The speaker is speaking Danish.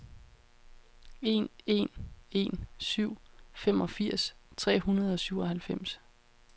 en en en syv femogfirs tre hundrede og syvoghalvfems